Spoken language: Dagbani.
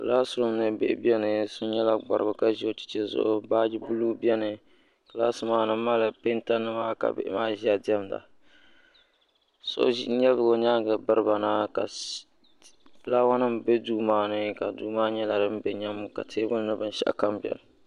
Kilaasi rum ni bihi biɛni so nyɛla gbarigu ka ʒi o cheche zuɣu baaji buluu biɛni kilaasi maani mali penta mima ka bihi maa diɛmda so lebigi o nyaanga biriba na garawa nima be duu maani ka duu maa nyɛla din be nyam ka teebuli nyɛ din binshaɣukam biɛni.